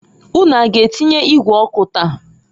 Unu a g'atinye igwe ọkụ taa?